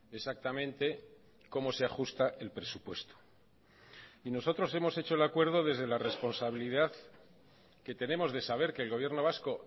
exactamente cómo se ajusta el presupuesto y nosotros hemos hecho el acuerdo desde la responsabilidad que tenemos de saber que el gobierno vasco